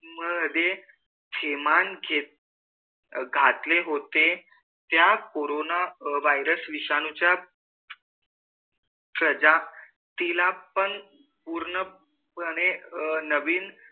मधे किमान घातले होते त्या कोरोन virus विषाणु च्या प्रजातिल पण पूर्ण पणे नविन